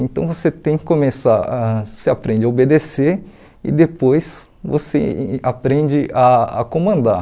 Então você tem que começar a você aprende a obedecer e depois você aprende a a comandar.